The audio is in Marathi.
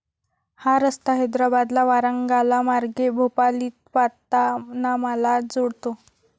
हा रस्ता हैद्राबादला वारांगालामार्गे भोपालीपातानामाला जोडतो.